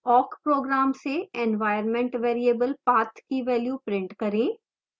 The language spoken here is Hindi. awk program से environment variable path की value print करें